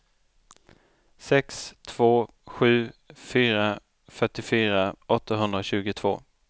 sex två sju fyra fyrtiofyra åttahundratjugotvå